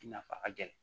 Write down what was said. I nafa ka gɛlɛn